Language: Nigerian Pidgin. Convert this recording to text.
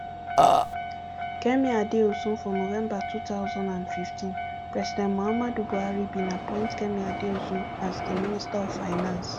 kemi adeosunfor november two thousand and fifteen president muhammadu buhari bin appoint kemi adeosun as di minister of finance